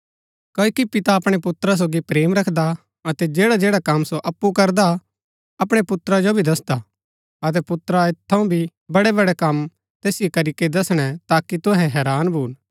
क्ओकि पिता अपणै पुत्रा सोगी प्रेम रखदा अतै जैडाजैडा कम सो अप्पु करदा अपणै पुत्रा जो दसदा अतै पुत्रा ऐत थऊँ भी बडै बडै कम तैसिओ करीके दसणै ताकि तुहै हैरान भून